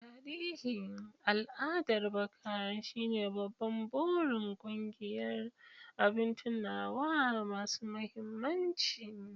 Tarihin al'adar baka shine babban burin ƙungiyar "Abin tunawa masu mahimmanci".